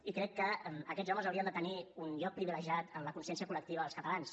i crec que aquests homes haurien de tenir un lloc privilegiat en la consciència col·lectiva dels catalans